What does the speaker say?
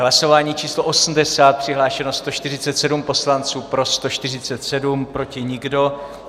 Hlasování číslo 80, přihlášeno 147 poslanců, pro 147, proti nikdo.